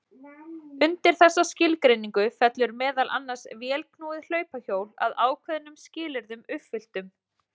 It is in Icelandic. Undir þessa skilgreiningu fellur meðal annars vélknúið hlaupahjól að ákveðnum skilyrðum uppfylltum.